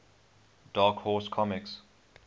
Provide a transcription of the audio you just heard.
dark horse comics